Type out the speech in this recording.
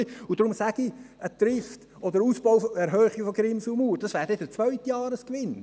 Deshalb sage ich: Trift oder eine Erhöhung der Grimsel-Mauer, das wäre der zweite Jahresgewinn.